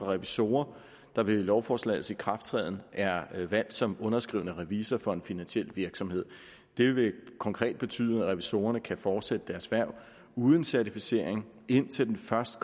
revisorer der ved lovforslagets ikrafttræden er valgt som underskrivende revisor for en finansiel virksomhed det vil konkret betyde at revisorerne kan fortsætte deres hverv uden certificering indtil den første